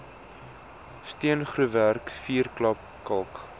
steengroefwerk vuurklap kalk